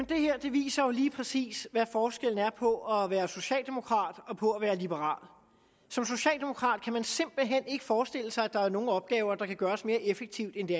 viser jo lige præcis hvad forskellen er på at være socialdemokrat og på at være liberal som socialdemokrat kan man simpelt hen ikke forestille sig at der er nogen opgaver der kan gøres mere effektivt end de